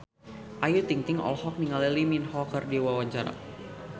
Ayu Ting-ting olohok ningali Lee Min Ho keur diwawancara